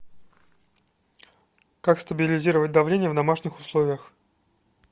как стабилизировать давление в домашних условиях